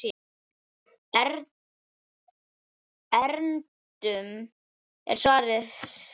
Erindum er svarað seint.